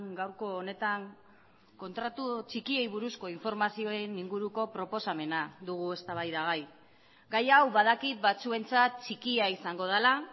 gaurko honetan kontratu txikiei buruzko informazioen inguruko proposamena dugu eztabaidagai gai hau badakit batzuentzat txikia izango dela